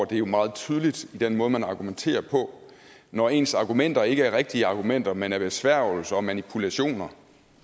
det er jo meget tydeligt i den måde man argumenterer på når ens argumenter ikke er rigtige argumenter man er besværgelser og manipulationer